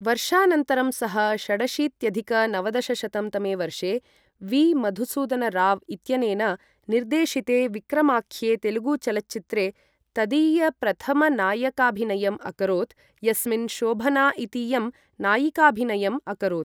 वर्षानन्तरं सः षडशीत्यधिक नवदशशतं तमे वर्षे वी.मधुसूदनराव् इत्यनेन निर्देशिते विक्रमाख्ये तेलुगुचलच्चित्रे तदीयप्रथमनायकाभिनयम् अकरोत् यस्मिन् शोभना इतीयं नायिकाभिनयम् अकरोत्।